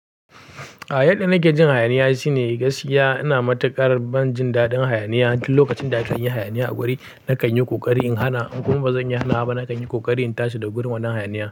A yadda nake jin hayaniya shine gaskiya ina matuƙar ban jin daɗin hayaniya. Tun lokacin da aka yi hayaniya a guri, na kan yi ƙoƙari in hana. In kuma ba zan iya hanawaba, na kan yi ƙoƙari in tashi daga gurin wannan hayaniya.